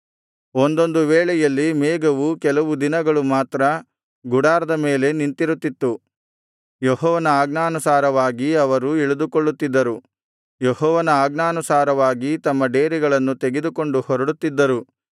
ಒಂದೊಂದು ವೇಳೆಯಲ್ಲಿ ಮೇಘವು ಕೆಲವು ದಿನಗಳು ಮಾತ್ರ ಗುಡಾರದ ಮೇಲೆ ನಿಂತಿರುತ್ತಿತ್ತು ಯೆಹೋವನ ಆಜ್ಞಾನುಸಾರವಾಗಿ ಅವರು ಇಳಿದುಕೊಳ್ಳುತ್ತಿದ್ದರು ಯೆಹೋವನ ಆಜ್ಞಾನುಸಾರವಾಗಿ ತಮ್ಮ ಡೇರೆಗಳನ್ನು ತೆಗೆದುಕೊಂಡು ಹೊರಡುತ್ತಿದ್ದರು